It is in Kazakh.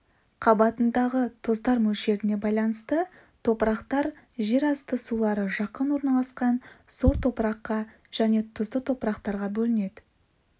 қабатындағы тұздар мөлшеріне байланысты топырақтар жерасты сулары жақын орналасқан сор топыраққа және тұзды топырақтарға бөлінеді